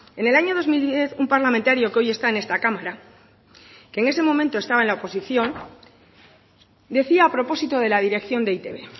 en el año dos mil diez un parlamentario que hoy está en esta cámara que en ese momento estaba en la oposición decía a propósito de la dirección de e i te be